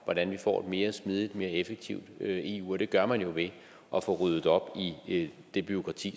hvordan vi får et mere smidigt et mere effektivt eu og det gør man ved at få ryddet op i det bureaukrati